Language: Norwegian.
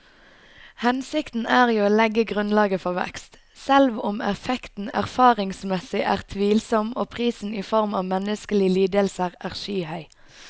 Hensikten er jo å legge grunnlaget for vekst, selv om effekten erfaringsmessig er tvilsom og prisen i form av menneskelige lidelser er skyhøy.